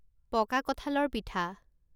পকা কঁঠালৰ পিঠা